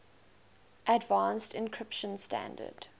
advanced encryption standard